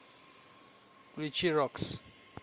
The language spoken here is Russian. включи рокс